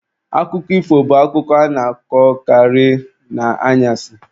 Akụkọ ifo bụ akụkọ a na-akọkarị n'anyasị